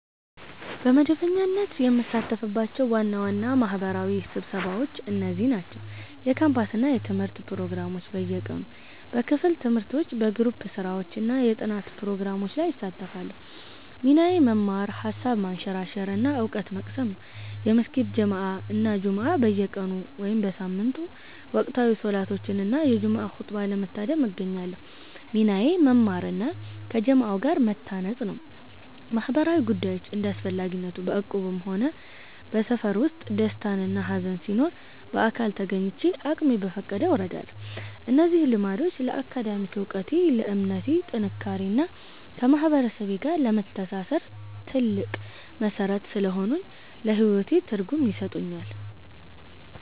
በመደበኛነት የምሳተፍባቸው ዋና ዋና ማህበራዊ ስብሰባዎች እነዚህ ናቸው፦ የካምፓስ እና የትምህርት ፕሮግራሞች (በየቀኑ)፦ በክፍል ትምህርቶች፣ በግሩፕ ስራዎች እና የጥናት ፕሮግራሞች ላይ እሳተፋለሁ። ሚናዬ መማር፣ ሃሳብ ማንሸራሸር እና እውቀት መቅሰም ነው። የመስጊድ ጀማዓ እና ጁምዓ (በየቀኑ/በየሳምንቱ)፦ ወቅታዊ ሰላቶችን እና የጁምዓ ኹጥባን ለመታደም እገኛለሁ። ሚናዬ መማር እና ከጀማዓው ጋር መተናነጽ ነው። ማህበራዊ ጉዳዮች (እንደ አስፈላጊነቱ)፦ በእቁብም ሆነ በሰፈር ውስጥ ደስታና ሃዘን ሲኖር በአካል ተገኝቼ አቅሜ በፈቀደው እረዳለሁ። እነዚህ ልምዶች ለአካዳሚክ እውቀቴ፣ ለእምነቴ ጥንካሬ እና ከማህበረሰቤ ጋር ለመተሳሰር ትልቅ መሠረት ስለሆኑኝ ለህይወቴ ትርጉም ይሰጡኛል።